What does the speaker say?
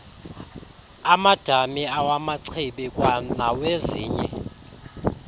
amadama awamachibi kwanawezinye